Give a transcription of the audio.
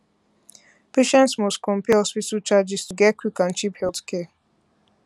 patients must compare hospital charges to get quick and cheap healthcare